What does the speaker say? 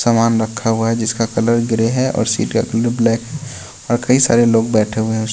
सामान रखा हुआ है जिसका कलर ग्रे है और सीट का कलर ब्लैक और कई सारे लोग बैठे हुए हैं।